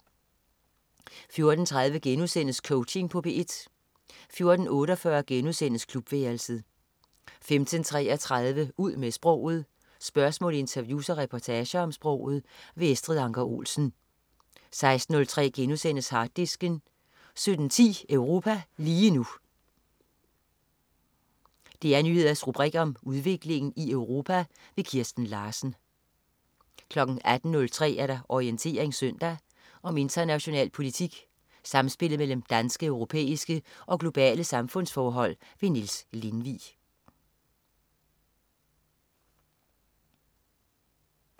14.03 Coaching på P1* 14.48 Klubværelset* 15.33 Ud med sproget. Spørgsmål, interviews og reportager om sproget. Estrid Anker Olsen 16.03 Harddisken* 17.10 Europa lige nu. DR Nyheders rubrik om udviklingen i Europa. Kirsten Larsen 18.03 Orientering søndag. Om international politik, samspillet mellem danske, europæiske og globale samfundsforhold. Niels Lindvig